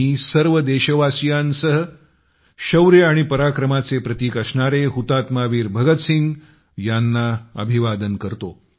मी सर्व देशवासियांसह शौर्य आणि पराक्रमाचे प्रतिक असणारे शहीद वीर भगतसिंग यांना अभिवादन करतो